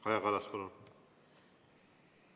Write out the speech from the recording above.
Kaja Kallas, palun!